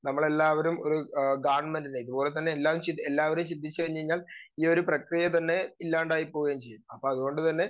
Speaker 2 നമ്മളെല്ലാവരും ഒരു ആഹ് ഗവൺമെന്റിലേക്ക് അതുപോലെ തന്നെ എല്ലാവരും ചിന്തിച്ചു കഴിഞ്ഞാൽ ഈയൊരു പ്രക്രിയ തന്നെ ഇല്ലാണ്ടായി പോവുകയും ചെയ്യും. അപ്പോ അതുകൊണ്ടുതന്നെ